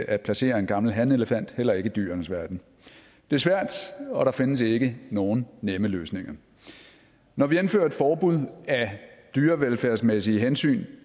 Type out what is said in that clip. at placere en gammel hanelefant heller ikke i dyrenes verden det er svært og der findes ikke nogen nemme løsninger når vi indfører et forbud af dyrevelfærdsmæssige hensyn